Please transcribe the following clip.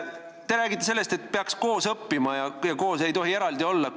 Te räägite, et peaks koos õppima, ei tohi eraldi koole olla.